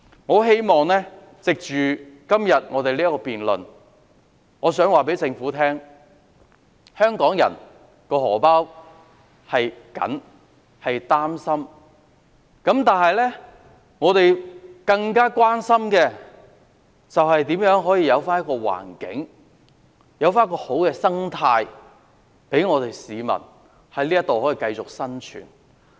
我希望藉着今天的辯論告訴政府，我們為香港人"荷包"緊張的情況擔心，我們更加關心，如何可營造一個環境、一個好的社會生態，讓市民在這裏繼續生活。